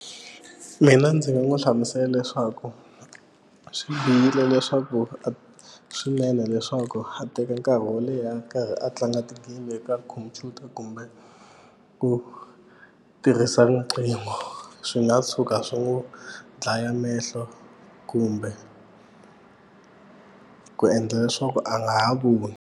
Mina ndzi nga n'wi hlamusela leswaku swi bihile leswaku a swinene leswaku a teka nkarhi wo leha a tlanga ti-game eka khompyuta kumbe ku tirhisa rinqingo swi nga tshuka swi n'wu dlaya mehlo kumbe ku endla leswaku a nga ha voni.